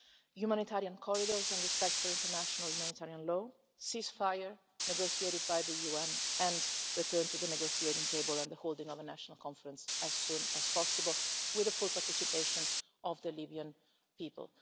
Humanitarian corridors and respect for international humanitarian law, ceasefire negotiated by the UN and a return to the negotiating table and the holding of a National Conference as soon as possible, with the full participation of the Libyan people.